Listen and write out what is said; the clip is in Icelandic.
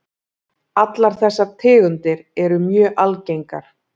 Allar þessar tegundir eru mjög algengar.